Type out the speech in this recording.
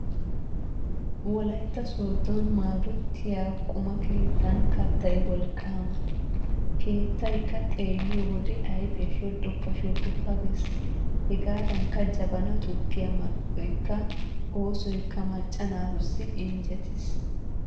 Wolaytta Sooddon Maadootiya quma keettan kattay wolqqaama. Keettaykka xeelliyo wode ayfiya shoddoppa shoddoppa gees. Hegaadankka Jabana tukkiya mal''oykka oosoykka macca naatussi injjetiis.